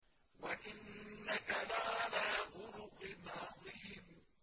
وَإِنَّكَ لَعَلَىٰ خُلُقٍ عَظِيمٍ